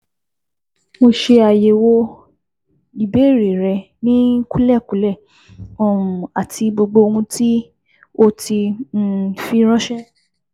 Mo ṣe àyẹ̀wò ìbéèrè rẹ ní kúlẹ̀kúlẹ̀ um àti gbogbo ohun tí o ti fi ránṣé